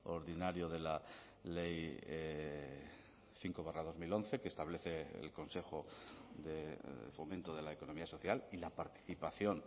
ordinario de la ley cinco barra dos mil once que establece el consejo de fomento de la economía social y la participación